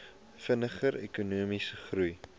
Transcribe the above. vinniger ekonomiese groei